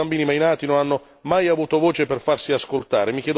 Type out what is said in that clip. Ma tanti bambini mai nati non hanno mai avuto voce per farsi ascoltare.